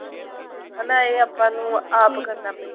ਹਨਾ ਇਹ ਆਪਾਂ ਨੂੰ ਆਪ ਕਰਨਾ ਪਏ